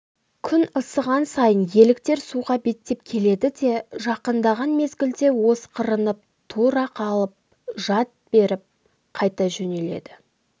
күн ысыған сайын еліктер суға беттеп келеді де жақындаған мезгілде осқырынып тұра қалып жалт беріп қайта жөнеледі